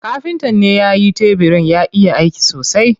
Kafintan ne yayi tebirin, ya iya aiki sosai.